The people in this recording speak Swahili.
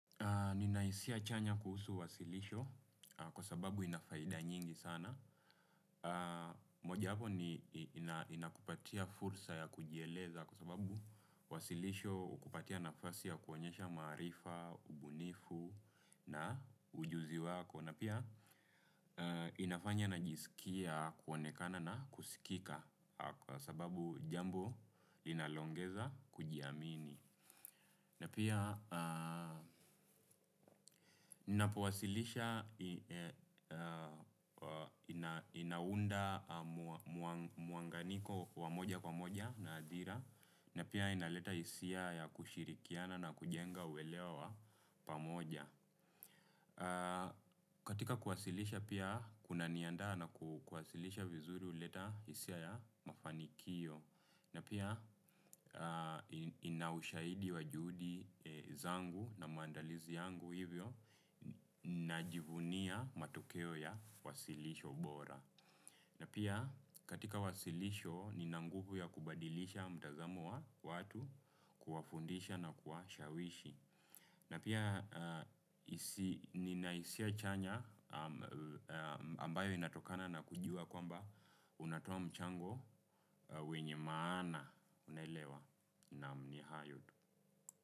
Nina hisia chanya kuhusu wasilisho kwa sababu ina faida nyingi sana. Moja wapo ni inakupatia fursa ya kujieleza kwa sababu wasilisho hukupatia nafasi ya kuonyesha maarifa, ubunifu na ujuzi wako. Na pia inafanya najisikia kuonekana na kusikika kwa sababu jambo linalo ongeza kujiamini. Na pia napowasilisha inaunda muunganiko wa moja kwa moja na hadhira. Na pia inaleta hisia ya kushirikiana na kujenga uelewa wa pamoja. Katika kuwasilisha pia kuna niandaa na kuwasilisha vizuri huleta hisia ya mafanikio. Na pia ina ushahidi wa juhudi zangu na maandalizi yangu hivyo najivunia matokeo ya wasilisho bora. Na pia katika wasilisho nina nguvu ya kubadilisha mtazamo wa watu kuwafundisha na kuwashawishi. Na pia nina hisia chanya ambayo inatokana na kujua kwamba unatoa mchango wenye maana unaelewa naam ni hayo tu.